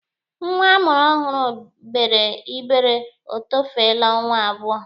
Nwa a mụrụ ọhụrụ gbere igbere etofeele ọnwa abụọ.